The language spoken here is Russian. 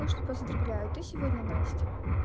так что поздравляю ты сегодня настя